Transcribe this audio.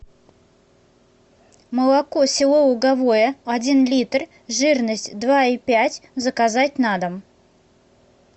молоко село луговое один литр жирность два и пять заказать на дом